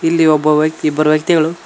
ಇಲ್ಲಿ ಒಬ್ಬ ವ್ಯಕ್ತಿ ಇಬ್ಬರ ವ್ಯಕ್ತಿಗಳು--